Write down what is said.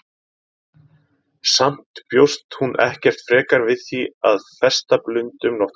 Samt bjóst hún ekkert frekar við því að festa blund um nóttina.